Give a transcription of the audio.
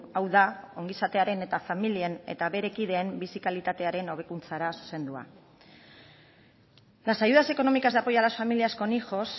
hau da ongizatearen eta familien eta bere kideen bizi kalitatearen hobekuntzara zuzendua las ayudas económicas de apoyo a las familias con hijos